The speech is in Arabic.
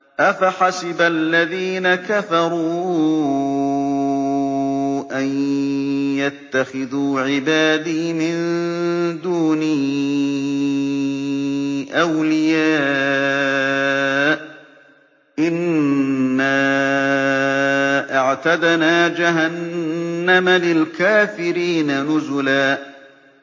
أَفَحَسِبَ الَّذِينَ كَفَرُوا أَن يَتَّخِذُوا عِبَادِي مِن دُونِي أَوْلِيَاءَ ۚ إِنَّا أَعْتَدْنَا جَهَنَّمَ لِلْكَافِرِينَ نُزُلًا